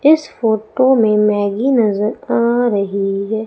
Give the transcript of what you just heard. इस फोटो में मैगी नजर आ रही है।